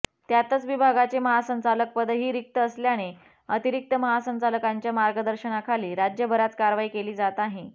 त्यातच विभागाचे महासंचालकपदही रिक्त असल्याने अतिरिक्त महासंचालकांच्या मार्गदर्शनाखाली राज्यभरात कारवाई केली जात आहे